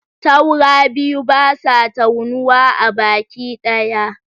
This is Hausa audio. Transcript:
Taura biyu, basa taunuwa a baki ɗaya